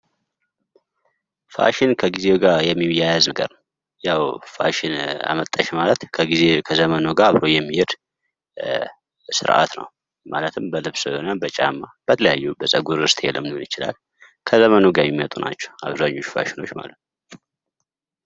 ፋሽን ከጊዜው ጋር የሚያያዝ ነገር ያው ፋሽን አመጣሽ ማለት ከጊዜ ከዘመኑ ጋር አብሮ የሚሄድ ስርአት ነው። ማለትም በልብስ እና በጫማ በተለያዩ በጸጉር እስታይልም ሊሆን ይችላል። ከዘመኑ ጋር የሚመጡ ናቸው አብዛኞቹ ፋሽኖች ማለት ነው።